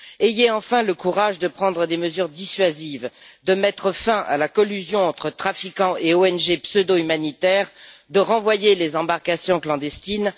Ayez enfin le courage de prendre des mesures dissuasives, de mettre fin à la collusion entre trafiquants et ONG pseudo humanitaires et de renvoyer les embarcations clandestines.